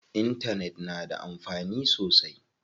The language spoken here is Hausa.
Intanet na da amfani sosai.